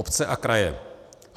Obce a kraje.